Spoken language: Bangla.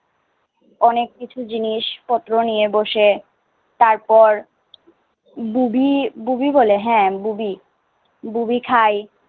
অনেক কিছু জিনিসপত্র নিয়ে বসে তারপর বুবি ববি বলে, হ্যাঁ বুবি বুবি খাই।